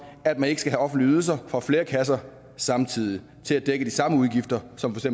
at man ikke skal have offentlige ydelser fra flere kasser samtidig til at dække de samme udgifter som for